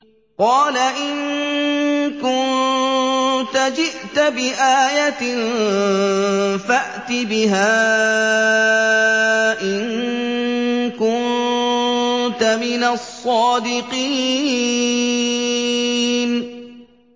قَالَ إِن كُنتَ جِئْتَ بِآيَةٍ فَأْتِ بِهَا إِن كُنتَ مِنَ الصَّادِقِينَ